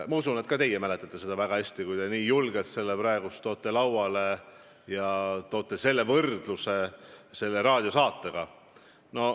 Ma usun, et ka teie mäletate seda väga hästi, kui te nii julgelt selle praegu lauale toote ja võrdlete seda selle raadiosaatega.